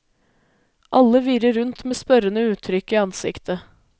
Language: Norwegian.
Alle virrer rundt med spørrende uttrykk i ansiktet.